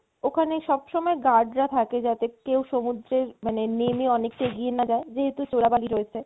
ওখানে সব সময় guard রা থাকে যাতে কেউ সমুদ্রে নেমে মানে অনেকটা এগিয়ে না যায় যেহেতু চোরা বালি রয়েছে